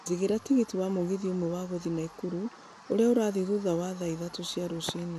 jigĩra tigiti wa mũgithi ũmwe wa gũthiĩ naikuru, ũrĩa ũrathiĩ thutha thaa ithatũ cia rũcinĩ.